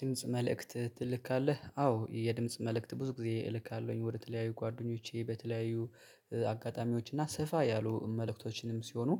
የድምጽ መልእክት ትልካለህ? አዎ የድምጽ መልእክት ብዙ ጊዜ እልካለሁኝ ወደ ተለያዩ ጓደኞቼ በተለያዩ አጋጣሚዎች እና ሰፋ ያሉ መልእክቶችንም ሲሆኑ